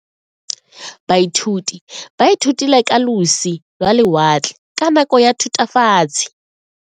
Baithuti ba ithutile ka losi lwa lewatle ka nako ya Thutafatshe.